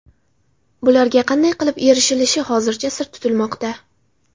Bularga qanday qilib erishilishi hozircha sir tutilmoqda.